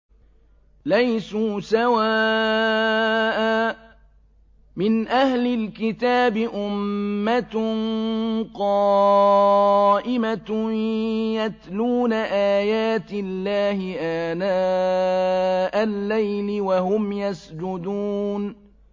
۞ لَيْسُوا سَوَاءً ۗ مِّنْ أَهْلِ الْكِتَابِ أُمَّةٌ قَائِمَةٌ يَتْلُونَ آيَاتِ اللَّهِ آنَاءَ اللَّيْلِ وَهُمْ يَسْجُدُونَ